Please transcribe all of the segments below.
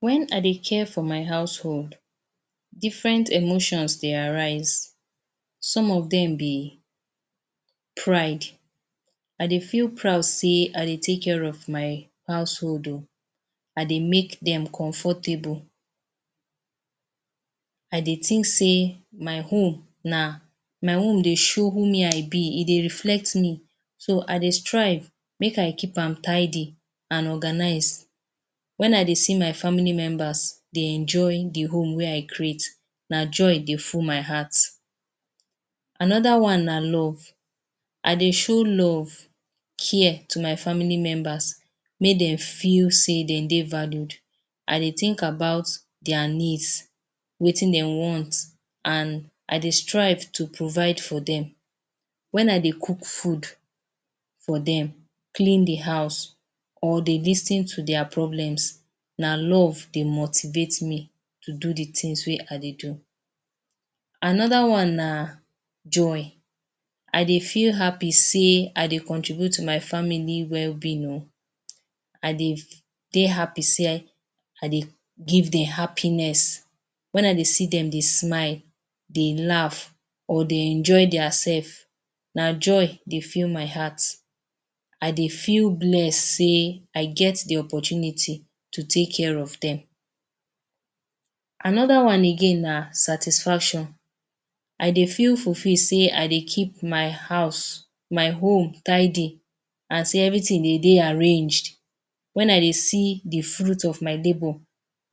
Web I dey care for my household, different emotions dey arise. Some of dem be pride. I dey feel proud sey I dey take care of my household oh. I dey make dem comfortable. I dey think sey my home na my home dey show who me I be. E dey reflect me. So, I dey strive make I keep am tidy an organize. Wen I dey see my family members dey enjoy the home wey I create, na joy dey full my heart. Another one na love. I dey show love, care, to my family members, make dem feel sey dem dey valued. I dey think about dia needs – wetin de want – an I dey strive to provide for dem. Wen I dey cook food for dem, clean the house, or dey lis ten to dia problems, na love dey motivate me to do the tins wey I dey do. Another one na joy. I dey feel happy sey I dey contribute to my family wellbeing oh. I dey dey happy sey I dey give dem happiness. Wen I dey see dem dey smile, dey laugh, or dey enjoy diasef, na joy dey fill my heart. I dey feel bless sey I get the opportunity to take care of dem. Another one again na satisfaction. I dey feel fulfil sey I dey keep my house, my home tidy. As everything dey dey arranged, wen I dey see the fruit of my labour,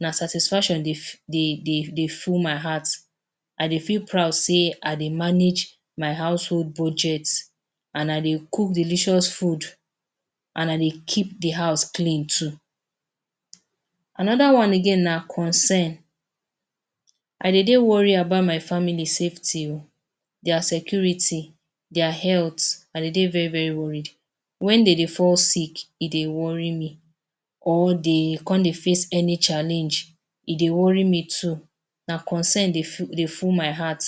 na satisfaction dey dey dey dey full my heart. I dey feel proud sey I dey manage my household budget an I dey cook delicious food, an I dey keep the house clean too. Another one again na concern. I dey dey worry about my family safety oh – dia security, dia health – I dey dey very very worried. Wen de dey fall sick, e dey worry me or de con dey face any challenge, e dey worry me too. Na concern dey dey full my heart.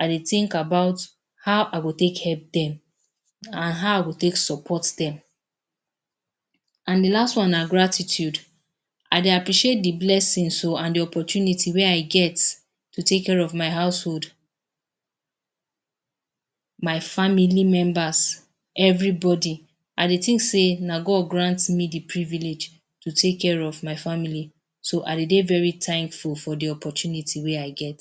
I dey think about how I go take help dem, an how I go take support dem. An the last one na gratitude. I dey blessings oh an the opportunity wey I get to take care of my household, my family members, everybody. I dey think sey na God grant me the privilege to take care of my family. So, I de dey very thankful for the opportunity wey I get.